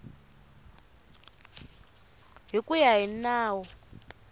hi ku ya hi nawu